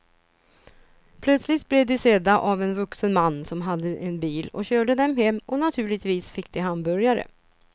Plötsligt blev de sedda av en vuxen man som hade en bil och körde dem hem och naturligtvis fick de hamburgare.